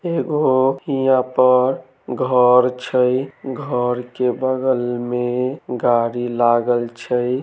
एगो इहाँ पर घर छै घर के बगल में गाड़ी लगल छै।